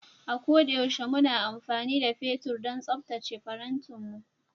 A ko da yaushe muna amfani da fetur don tsaftace farantinmu